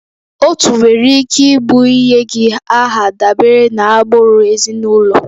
Otu nwere ike ịbụ ịnye gị aha dabere na agbụrụ ezinụlọ